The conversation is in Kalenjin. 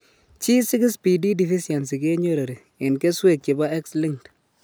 G6PD deficiency kenyory en keswek chebo X linked